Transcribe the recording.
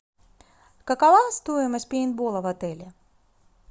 какова стоимость пейнтбола в отеле